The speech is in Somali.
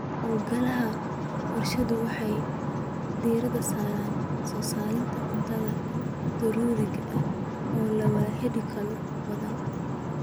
Hawlgallada warshaduhu waxay diiradda saaraan soo saarista cuntooyinka daruuriga ah oo la awoodi karo oo badan.